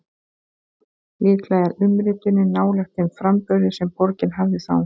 Líklega er umritunin nálægt þeim framburði sem borgin hafði þá.